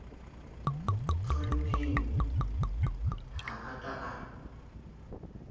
tjhonneng ha a ka a